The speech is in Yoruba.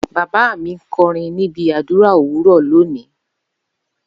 Baba mi nkorin nibi adura owuro loni.